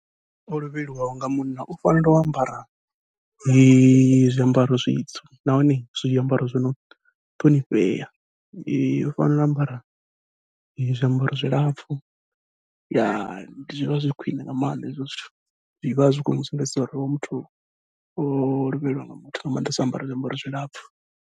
O lovheliwaho nga munna u fanela u ambara zwiambaro zwitsu, nahone zwiambaro zwino ṱhonifhea u fanela u ambara zwiambaro zwilapfhu zwivha zwi khwiṋe nga maanḓa hezwo zwithu, zwivha zwi khou sumbedza uri hoyu muthu o lovheliwa nga muthu nga maanḓesa o ambara zwiambaro zwilapfhu.